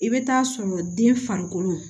I bɛ taa sɔrɔ den farikolo